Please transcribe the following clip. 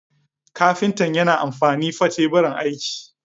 Kafinta yana amfani fa Teburin aiki.